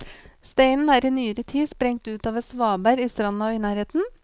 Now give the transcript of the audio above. Steinen er i nyere tid sprengt ut av et svaberg i stranda i nærheten.